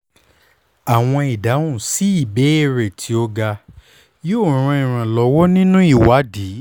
awọn idahun si ibeere ti o ga yoo ran iranlọwọ ninu iwadi